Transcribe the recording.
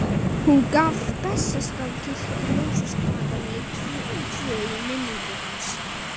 Hún gaf Bessastaðakirkju ljósastjakana tvo í minningu hans.